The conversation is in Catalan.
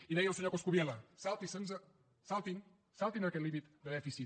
i deia el senyor coscubiela saltin se’l saltin se’l saltin se aquest límit de dèficit